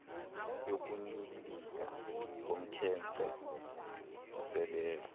yokunyibilika komkhence oseleyo